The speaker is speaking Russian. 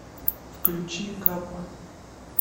включи капа